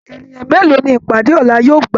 Ènìyàn mélòó ní ìpàdé ọlá yóò gbà?